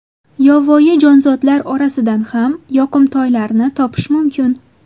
Yovvoyi jonzotlar orasidan ham yoqimtoylarni topish mumkin.